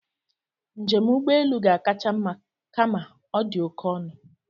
Njem ụgbọelu ga-akacha mma kama ọ dị oké ọnụ